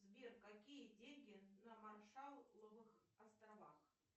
сбер какие деньги на маршалловых островах